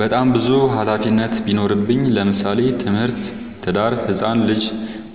በጣም ብዙ ሀላፊነት ቢኖርብኝ ለምሳሌ፦ ትምህርት፣ ትዳር፣ ህፃን ልጂ